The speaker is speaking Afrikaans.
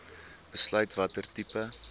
besluit watter tipe